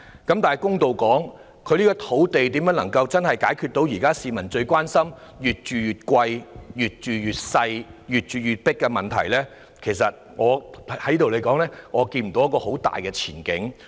說句公道話，對於如何運用土地，真正解決市民最關心"越住越貴、越住越細、越住越擠迫"的問題，我實在看不到有很大的前景。